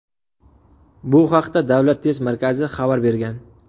Bu haqda Davlat test markazi xabar bergan .